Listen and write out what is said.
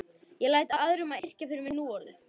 Ég læt aðra um að yrkja fyrir mig núorðið.